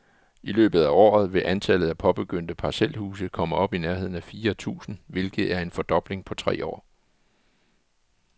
I løbet af året vil antallet af påbegyndte parcelhuse komme op i nærheden af fire tusind, hvilket er en fordobling på tre år.